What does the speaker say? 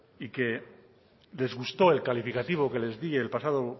y que les gusto el calificativo que les di el pasado